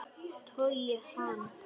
Togi hann.